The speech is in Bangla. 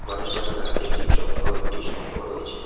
গণেশ ঠাকুরের হাতে একটি চক্র একটি শঙ্খ রয়েছে।